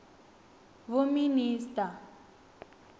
vhominista